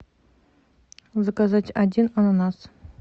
заказать один ананас